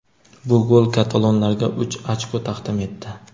Bu gol katalonlarga uch ochko taqdim etdi.